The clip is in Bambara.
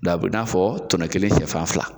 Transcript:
O la a bi n'a fɔ tɔnɔ kelen sɛfan fila.